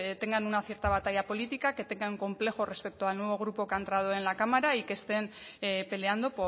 tengan una cierta batalla política que tengan un complejo respecto al nuevo grupo que ha entrado en la cámara y que estén peleando